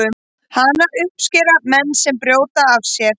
Hana uppskera menn sem brjóta af sér.